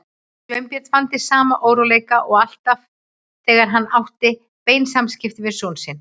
Sveinbjörn fann til sama óróleika og alltaf þegar hann átti bein samskipti við son sinn.